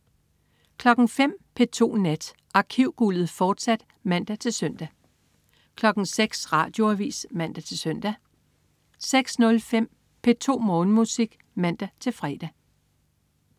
05.00 P2 Nat. Arkivguldet, fortsat (man-søn) 06.00 Radioavis (man-søn) 06.05 P2 Morgenmusik (man-fre)